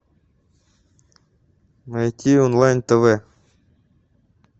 найти онлайн тв